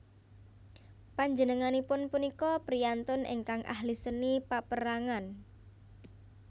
Panjenenganipun punika priyantun ingkang ahli seni paperangan